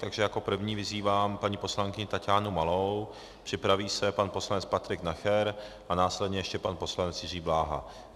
Takže jako první vyzývám paní poslankyni Taťánu Malou, připraví se pan poslanec Patrik Nacher a následně ještě pan poslanec Jiří Bláha.